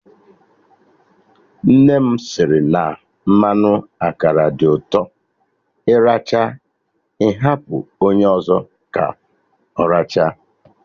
Nne m sịrị na mmanụ akara dị ụtọ, ị rachaa ị hapụ onye ọzọ ka ọ rachaa